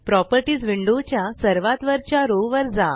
properties window च्या सर्वात वरच्या रो वर जा